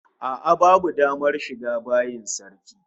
A'a babu damar shiga bayin sarki